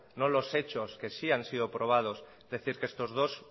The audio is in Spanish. no los hechos que sí han sido probados decir que estos dos